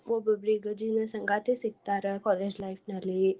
ಒಬ್ಬೊಬ್ರು ಜೀವ್ನ ಸಂಗಾತಿ ಸಿಗ್ತಾರ. college life ನಲ್ಲಿ.